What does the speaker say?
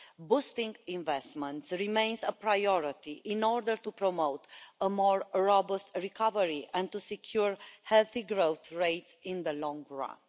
Boosting investment remains a priority in order to promote a more robust recovery and to secure a healthy growth rate in the long run.